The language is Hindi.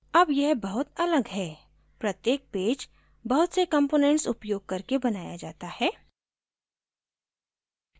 अब यह बहुत अलग है प्रत्येक पेज बहुत से कंपोनेंट्स उपयोग करके बनाया जाता है